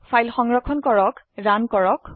file সংৰক্ষণ কৰক run কৰক